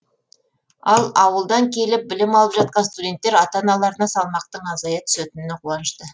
ал ауылдан келіп білім алып жатқан студенттер ата аналарына салмақтың азая түсетініне қуанышты